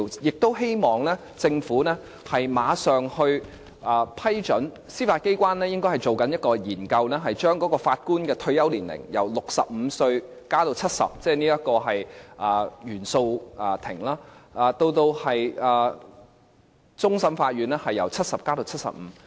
我希望政府馬上批准司法機關進行一項研究，將原訴庭法官的退休年齡，由65歲延至70歲，而終審法院法官的退休年齡，由70歲延至75歲。